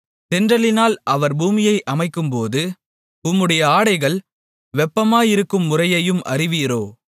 தென்றலினால் அவர் பூமியை அமைக்கும்போது உம்முடைய ஆடைகள் வெப்பமாயிருக்கும் முறையையும் அறிவீரோ